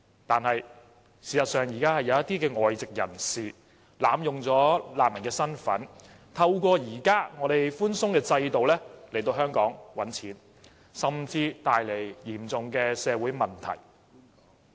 可是，事實上，現時有一些外籍人士濫用難民的身份，透過現時寬鬆的制度來香港賺錢，甚至帶來嚴重的社會問題。